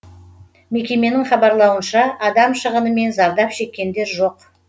мекеменің хабарлауынша адам шығыны мен зардап шеккендер жоқ